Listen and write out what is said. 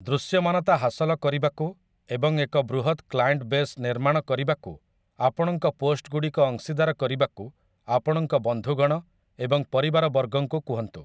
ଦୃଶ୍ୟମାନତା ହାସଲ କରିବାକୁ ଏବଂ ଏକ ବୃହତ କ୍ଲାଏଣ୍ଟ୍ ବେସ୍ ନିର୍ମାଣ କରିବାକୁ ଆପଣଙ୍କ ପୋଷ୍ଟ୍‌ଗୁଡ଼ିକ ଅଂଶୀଦାର କରିବାକୁ ଆପଣଙ୍କ ବନ୍ଧୁଗଣ ଏବଂ ପରିବାରବର୍ଗଙ୍କୁ କୁହନ୍ତୁ ।